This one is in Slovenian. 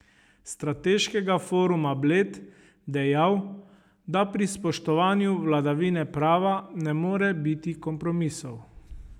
Strateškega foruma Bled dejal, da pri spoštovanju vladavine prava ne more biti kompromisov.